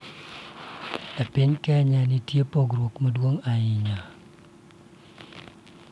E piny Kenya, nitie pogruok maduong'